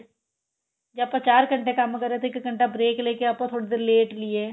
ਜੇ ਆਪਾਂ ਚਾਰ ਘੰਟੇ ਕੰਮ ਕਰ ਰਹੇ ਹਾ ਤਾਂ ਇੱਕ ਘੰਟਾ break ਲੈ ਕੇ ਆਪਾਂ ਥੋੜੀ ਦੇਰ ਲੇਟ ਲਈਏ